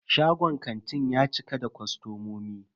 Shagon kantin ya cika da kostomomi.